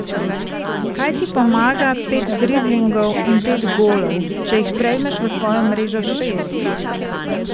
Kaj ti pomaga pet driblingov in pet golov, če jih prejmeš v svojo mrežo šest?